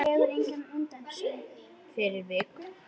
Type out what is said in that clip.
Fyrir viku.